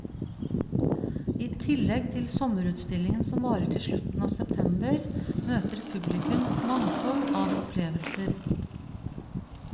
I tillegg til sommerutstillingen som varer til slutten av september, møter publikum et mangfold av opplevelser.